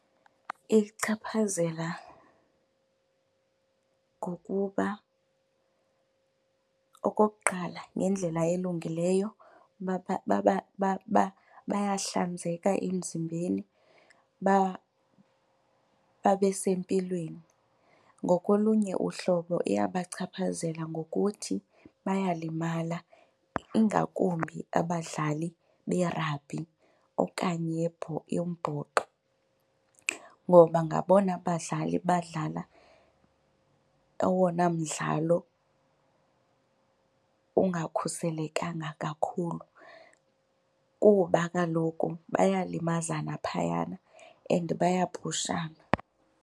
Iyichaphazela ngokuba okokuqala ngendlela elungileyo, bayahlanzeka emzimbeni babe sempilweni. Ngokolunye uhlobo iyabachaphazela ngokuthi bayalimala ingakumbi abadlali berabhi okanye yombhoxo ngoba ngabona badlali badlala owona mdlalo ungakhuselekanga kakhulu kuba kaloku bayalimazana phayana and bayapushana.